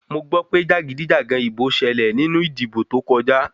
Mo gbọ́ pé jàgídíjàgan ìbò ṣẹlẹ̀ nínú ìdìbò tó kọjá.